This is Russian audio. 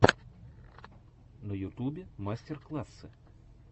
на ютубе мастер классы